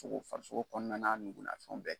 Fo ko farisoko kɔnɔna na nugun, na fɛnw bɛɛ.